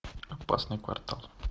опасный квартал